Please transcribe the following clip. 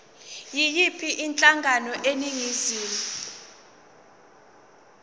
yiyiphi inhlangano eningizimu